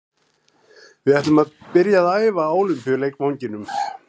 Við ætlum að byrja að æfa á Ólympíuleikvanginum.